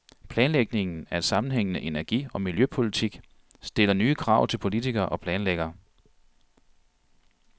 Planlægningen af en sammenhængende energi- og miljøpolitik stiller nye krav til politikere og planlæggere.